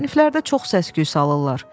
"Siniflərdə çox səs-küy salırlar.